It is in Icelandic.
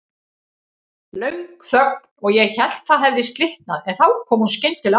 Löng þögn og ég hélt það hefði slitnað, en þá kom hún skyndilega aftur.